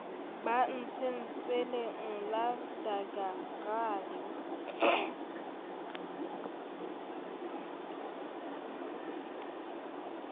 ba antseng tsweleng la daggakraal